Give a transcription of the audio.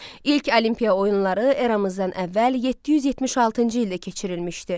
İlk Olimpiya oyunları eramızdan əvvəl 776-cı ildə keçirilmişdi.